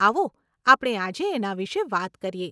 આવો આપણે આજે એના વિષે વાત કરીએ.